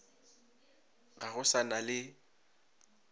ga go sa na le